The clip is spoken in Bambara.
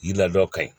I ladon ka ɲi